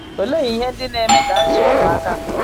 Olee ihe ndị na - eme ka azụọ ụmụ aka nke ọ?